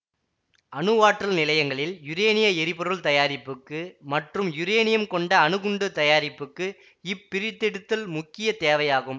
அணுவாற்றல் நிலையங்களில் யுரேனிய எரிபொருள் தயாரிப்புக்கு மற்றும் யுரேனியம் கொண்ட அணு குண்டு தயாரிப்புக்கு இப்பிரித்தெடுத்தல் முக்கிய தேவையாகும்